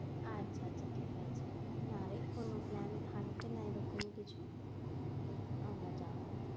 আচ্ছা আচ্ছা ঠিক আছে না রে কোনো plan থাকবে না এরকম কিছু আমরা যাব।